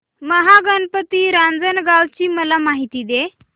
महागणपती रांजणगाव ची मला माहिती दे